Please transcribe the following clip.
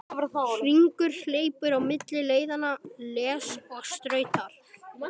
Hringur hleypur á milli leiðanna, les og stautar.